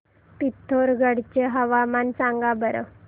पिथोरगढ चे हवामान सांगा बरं